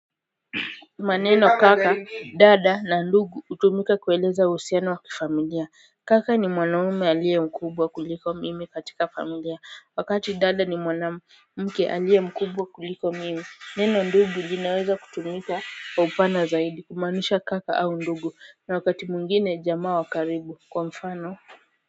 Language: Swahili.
Maneno kaka, dada na ndugu hutumika kueleza uhusiano wa kifamilia. Kaka ni mwanaume aliye mkubwa kuliko mimi katika familia wakati dada ni mwana mke aliye mkubwa kuliko mimi. Neno ndugu linaweza kutumika kwa upana zaidi kumaanisha kaka au ndugu na wakati mwingine jamaa wa karibu kwa mfano.